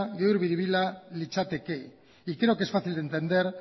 gezur biribila litzateke y creo que es fácil de entender